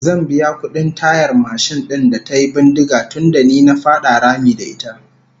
Zan biya kudin tayar mashin din da tayi bindiga tunda ni na fada rami da ita